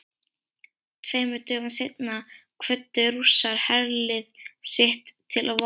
Tveimur dögum seinna kvöddu Rússar herlið sitt til vopna.